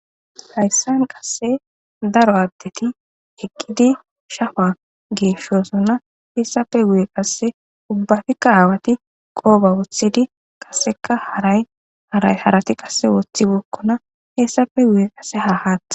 hayssan qasse daro aaddeti eqqidi shafa geeshosonna heessafe guye qasse ubbafikka aawati qoofa wothidi qasseka harayarayharati qasse woththi bookkona hessafe guye qasse ha haaththa giddon buray dees